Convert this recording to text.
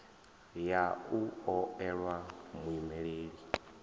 ya u o elwa muimeleli